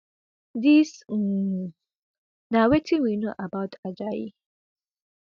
dis um na wetin we know about ajayi